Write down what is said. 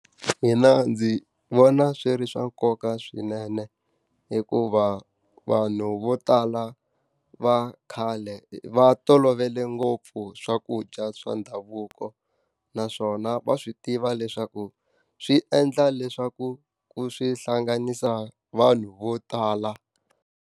Mina ndzi vona swi ri swa nkoka swinene hikuva, vanhu vo tala va khale va tolovele ngopfu swakudya swa ndhavuko. Naswona va swi tiva leswaku swi endla leswaku swi hlanganisa vanhu vo tala.